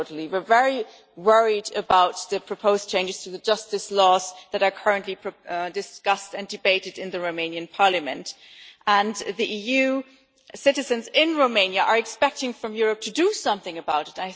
We are very worried about the proposed changes to the justice laws that are currently being discussed and debated in the Romanian parliament, and EU citizens in Romania are expecting Europe to do something about it.